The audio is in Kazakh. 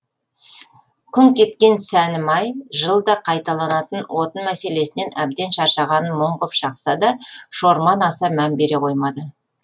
күңк еткен сәнімай жылда қайталанатын отын мәселесінен әбден шаршағанын мұң ғып шақса да шорман аса мән бере қоймады